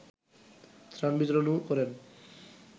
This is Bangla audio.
ত্রাণ বিতরণও করেন